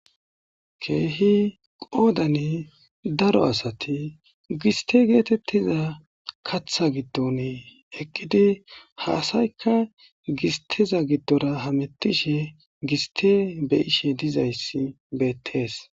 Keehi qoodan daaro aastti gisstte geetetiza kaaththa giddon eqqi ha aassayika gissteza giddora hamettishshe gissththe beeishshe diizaysi beettess.